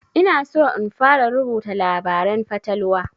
Ina so in fara rubuta labaren fatalwa